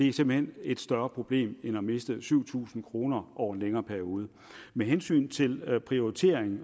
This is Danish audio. er simpelt hen et større problem end at miste syv tusind kroner over en længere periode med hensyn til prioritering